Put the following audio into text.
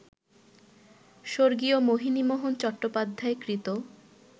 স্বর্গীয় মোহিনীমোহন চট্টোপাধ্যায় কৃত